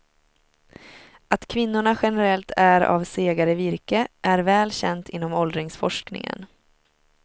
Att kvinnorna generellt är av segare virke är väl känt inom åldringsforskningen.